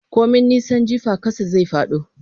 Komai nisan jifa ƙasa zai fado.